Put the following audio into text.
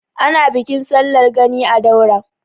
Ana Bikin sallar Gani a Daura.